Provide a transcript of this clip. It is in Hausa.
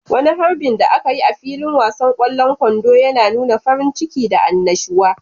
Wani harbin da aka yi a filin wasan kwallon kwando yana nuna farin ciki da annashuwa.